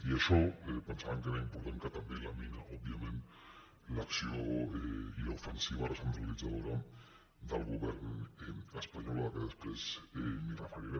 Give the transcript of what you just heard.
i això pensàvem que era important que també lamina òbviament l’acció i l’ofensiva re·centralitzadora del govern espanyol que després m’hi referiré